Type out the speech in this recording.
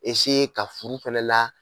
ka furu fɛnɛ la.